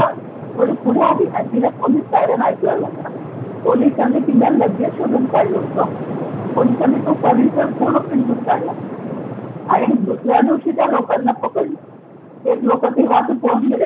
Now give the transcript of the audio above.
थोडी पुढे आली आणि तिला पोलिस सायरन ऐकू यायला लागला. पोलिसांनी तिला लगेच शोधून काढलं होतं. पोलिसांनी तो परिसर संपूर्ण पिंजून काढला आणि दुसऱ्या दिवशी त्या लोकांना पकडलं. ते लोकं तेव्हा पळून गेलेले.